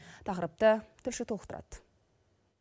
тақырыпты тілші толықтырады